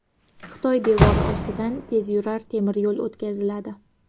Xitoy devori ostidan tezyurar temir yo‘l o‘tkaziladi.